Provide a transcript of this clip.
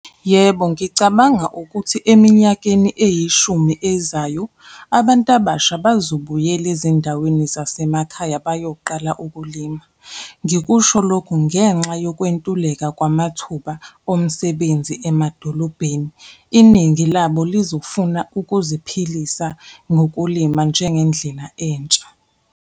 Yebo, ngicabanga ukuthi eminyakeni eyishumi ezayo, abantu abasha bazobuyela ezindaweni zasemakhaya bayoqala ukulima. Ngikusho lokho ngenxa yokwentuleka kwamathuba omsebenzi emadolobheni, iningi labo lizofuna ukuziphilisa ngokulima njengendlela entsha.